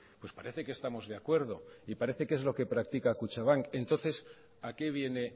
pues parece que estamos de acuerdo y parece que es lo que practica kutxabank entonces a qué viene